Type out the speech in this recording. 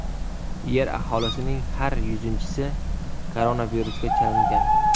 Yer aholisining har yuzinchisi koronavirusga chalingan.